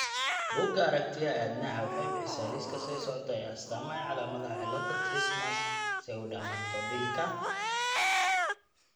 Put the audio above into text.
Bugga Aaaragtiyaha Aadanaha waxay bixisaa liiska soo socda ee astaamaha iyo calaamadaha cillada Trismus pseudocamptodactylyka.